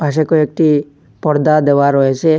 পাশে কয়েকটি পর্দা দেওয়া রয়েসে।